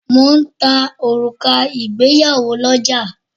Mo ń ta òrùka ìgbéyàwó lọ́ja